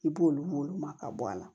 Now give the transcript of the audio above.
I b'olu ma ka bɔ a la